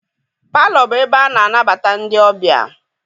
Palọ bụ ebe ana anabata ndị ọbịa.